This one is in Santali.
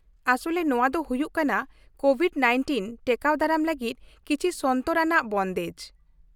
ᱟᱥᱚᱞᱨᱮ ᱱᱚᱶᱟ ᱫᱚ ᱦᱩᱭᱩᱜ ᱠᱟᱱᱟ ᱠᱳᱵᱷᱤᱰᱼ᱑᱙ ᱴᱮᱠᱟᱣ ᱫᱟᱨᱟᱢ ᱞᱟᱹᱜᱤᱫ ᱠᱤᱪᱷᱤ ᱥᱚᱱᱛᱚᱨ ᱟᱱᱟᱜ ᱵᱚᱱᱫᱮᱡ ᱾